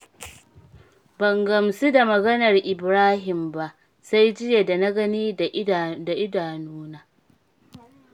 Ban gamsu da maganar Ibrahim ba, sai jiya da na gani da idanuna.